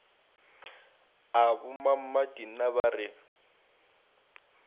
a bommammati na ba re